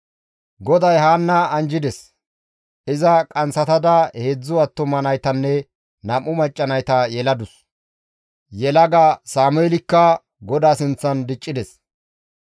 GODAY Haanna anjjides; iza qanththatada heedzdzu attuma naytanne nam7u macca nayta yeladus; yelaga Sameelikka GODAA sinththan diccides.